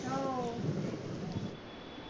हो